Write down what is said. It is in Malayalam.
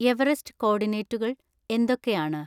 എവറെസ്റ്റ് കോർഡിനേറ്റുകൾ എന്തൊക്കെയാണ്